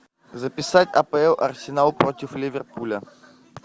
записать апл арсенал против ливерпуля